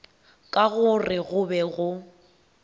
ka gore go be go